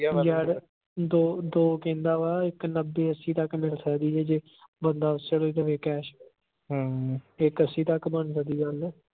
ਯਾਰ ਦੋ ਦੋ ਕਹਿੰਦਾ ਵਾ ਇਕ ਨੱਬੇ ਅੱਸੀ ਤੱਕ ਮਿਲ ਸਕਦੀ ਜੇ ਬੰਦਾ ਉਸੇ ਵੇਲੇ ਦੇਵੇ cash ਹਮ ਇਕ ਅੱਸੀ ਤੱਕ ਬਣ ਜਾਂਦੀ ਗੱਲ।